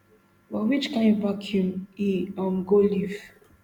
but which kain vacuum e um go leave